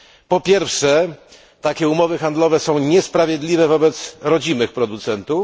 Po pierwsze, takie umowy są niesprawiedliwe wobec rodzimych producentów.